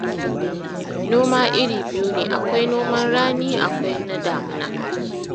Noma iri biyu ne, akwai noman rani, akwai na damina